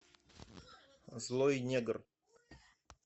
злой негр